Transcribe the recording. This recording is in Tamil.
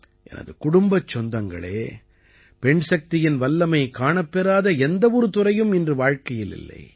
எனது குடும்பச் சொந்தங்களே பெண்சக்தியின் வல்லமை காணப்பெறாத எந்த ஒரு துறையும் இன்று வாழ்க்கையில் இல்லை